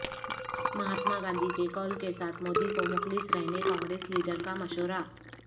مہاتما گاندھی کے قول کے ساتھ مودی کو مخلص رہنے کانگریس لیڈرکا مشورہ